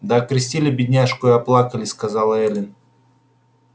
да окрестили бедняжку и оплакали сказала эллин